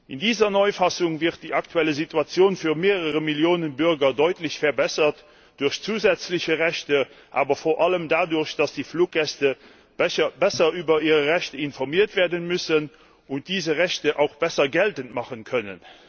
In dieser Neufassung wird die aktuelle Situation für mehrere Millionen Bürger durch zusätzliche Rechte deutlich verbessert, aber vor allem dadurch, dass die Fluggäste besser über ihre Rechte informiert werden müssen und diese Rechte auch besser geltend machen können.